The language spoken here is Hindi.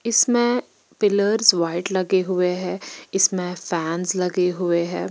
इसमे पिलर्स व्हाइट लगे हुए है इसमे फॅन्स लगे हुए है।